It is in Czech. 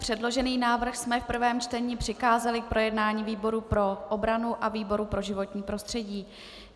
Předložený návrh jsme v prvém čtení přikázali k projednání výboru pro obranu a výboru pro životní prostředí.